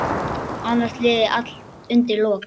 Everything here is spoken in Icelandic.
Annars liði allt undir lok.